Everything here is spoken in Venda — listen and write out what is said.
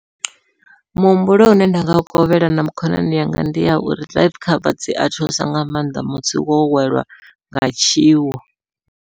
Muhumbulo une nda nga kovhela na khonani yanga ndi ya uri life cover dzia thusa nga maanḓa musi wo welwa nga tshiwo.